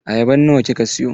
Ayaban nawa kika siyo?